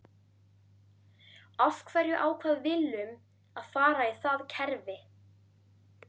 Af hverju ákvað Willum að fara í það kerfi?